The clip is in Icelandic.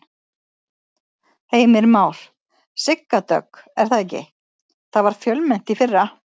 Heimir Már: Sigga Dögg er það ekki, það var fjölmennt í fyrra?